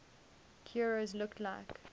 heroes looked like